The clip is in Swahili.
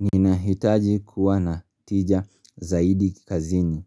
Nina hitaji kuwa na tija zaidi kikazini.